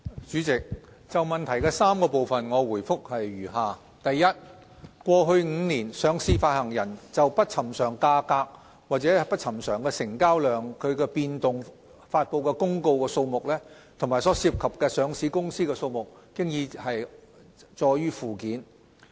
主席，就質詢的3個部分，我的答覆如下：一過去5年，上市發行人就不尋常價格或不尋常成交量變動發布的公告數目，以及所涉及的上市公司數目載於附件。